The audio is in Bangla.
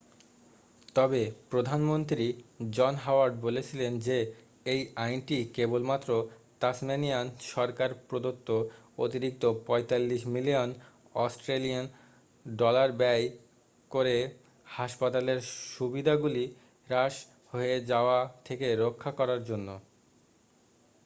তবে প্রধানমন্ত্রী জন হাওয়ার্ড বলেছিলেন যে এই আইনটি কেবলমাত্র তাসমানিয়ান সরকার প্রদত্ত অতিরিক্ত 45 মিলিয়ন অস্ট্রেলিয়ান ডলার ব্যয় করে হাসপাতালের সুবিধাগুলি হ্রাস হয়ে যাওয়া থেকে রক্ষা করার জন্য